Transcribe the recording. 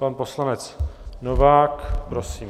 Pan poslanec Novák, prosím.